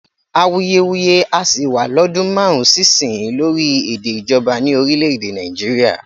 Awuyewuye á sì wá lọ́dún márùn-ún sí ìsinyìí lórí èdè ìjọba ní orílè-èdè Nàìjíríà